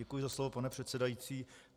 Děkuji za slovo, pane předsedající.